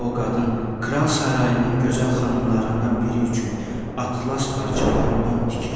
İndi o qadın kral sarayının gözəl xanımlarından biri üçün atlas parçadan don tikir.